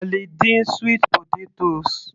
A lè dín sweet potatoes